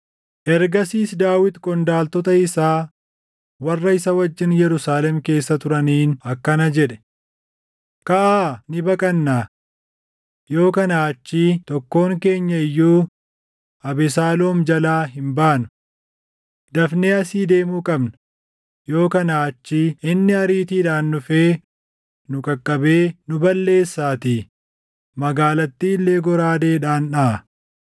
Ergasiis Daawit qondaaltota isaa warra isa wajjin Yerusaalem keessa turaniin akkana jedhe; “Kaʼaa ni baqannaa! Yoo kanaa achii tokkoon keenya iyyuu Abesaaloom jalaa hin baanu. Dafnee asii deemuu qabna; yoo kanaa achii inni ariitiidhaan dhufee nu qaqqabee nu balleessaatii; magaalattii illee goraadeedhaan dhaʼa.”